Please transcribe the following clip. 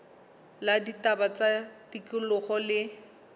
la ditaba tsa tikoloho le